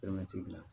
Bɛɛ ma segin